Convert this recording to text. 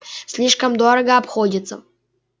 слишком дорого обходится